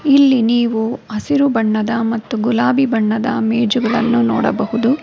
ಇಲ್ಲಿ ನೀವು ಹಸಿರು ಬಣ್ಣದ ಮತ್ತು ಗುಲಾಬಿ ಬಣ್ಣದ ಮೇಜುಗಳನ್ನು ನೋಡಬಹುದು.